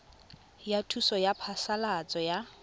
ya thuso ya phasalatso ya